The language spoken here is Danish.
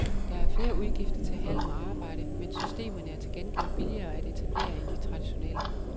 Der er flere udgifter til halm og arbejde, men systemerne er til gengæld billigere at etablere end de traditionelle.